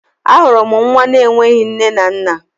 A hụrụ nwa na enweghị nne na nna.